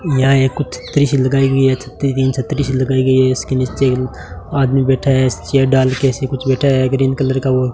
यहां ये कुछ थ्री शील्ड का एक छत ति छतरी सी लगाई गई है इसके नीचे आदमी बैठा है ऐसे चेयर डाल के ऐसे कुछ बैठा है ग्रीन कलर का वो --